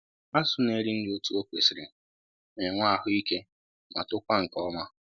Azụ na-eri nri otu o kwesịrị na-enwe ahụ ike ma tokwa nke ọma